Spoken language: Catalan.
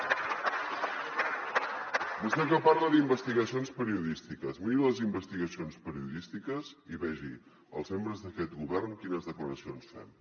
vostè que parla d’investigacions periodístiques miri les investigacions periodístiques i vegi els membres d’aquest govern quines declaracions fem